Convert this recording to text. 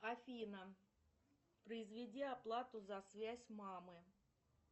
афина произведи оплату за связь мамы